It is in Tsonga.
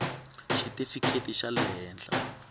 xitifikheti xa le henhla xa